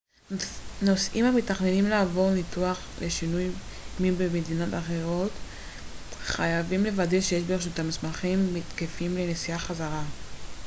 נוסעים המתכננים לעבור ניתוח לשינוי מין במדינה אחרת חייבים לוודא שיש ברשותם מסמכים תקפים לנסיעה חזרה